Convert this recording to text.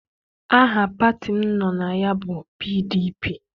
Aha pati m nọ na ya bụ PDP.